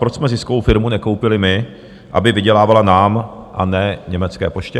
Proč jsme ziskovou firmu nekoupili my, aby vydělávala nám, a ne německé poště?